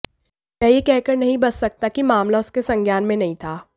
वह यह कहकर नहीं बच सकता कि मामला उसके संज्ञान में नहीं था